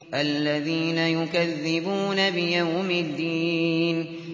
الَّذِينَ يُكَذِّبُونَ بِيَوْمِ الدِّينِ